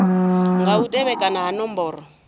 nga u tevhekana ha nomboro